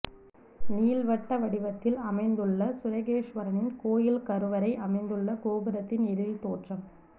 நீள் வட்ட வடிவத்தில் அமைந்துள்ள சுரகேசுவரரின் கோயில் கருவறை அமைந்துள்ள கோபுரத்தின் எழில் தோற்றம்